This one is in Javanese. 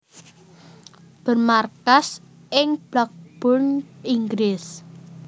Bermarkas ing Blackburn Inggris